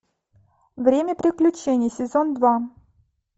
время приключений сезон два